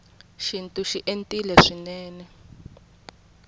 xintu xi entile swinene